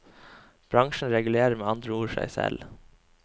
Bransjen regulerer med andre ord seg selv.